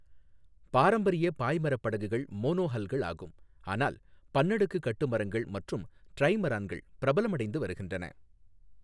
பாரம்பரிய பாய்மரப் படகுகள் மோனோஹல்கள் ஆகும், ஆனால் பன்னடுக்கு கட்டுமரங்கள் மற்றும் டிரைமரான்கள் பிரபலமடைந்து வருகின்றன.